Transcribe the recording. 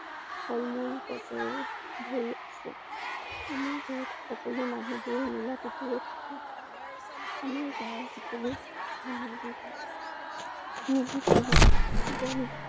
ফল মূল গছেৰে ভৰি আছে। আমাৰ ঘৰত সকলো মানুহবোৰে মিলা প্ৰীতিৰে থাকে। আমাৰ গাঁৱৰ সকলো মানুহবোৰ মিলিজুলি চবেই